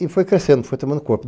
E foi crescendo, foi tomando corpo.